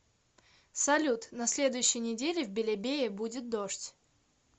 салют на следующей неделе в белебее будет дождь